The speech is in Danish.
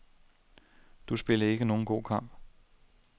Du spillede ikke nogen god kamp.